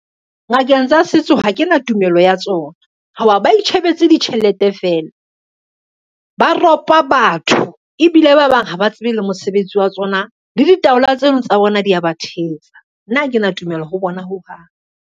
Ngakeng tsa setso ha ke na tumelo ya tsona, ho ba ba itjhebetse ditjhelete fela. Ba ropa batho ebile ba bang ha ba tsebe le mosebetsi wa tsona, le ditaola tseno tsa bona di ya ba thetsa. Nna ha kena tumelo ho bona ho hang.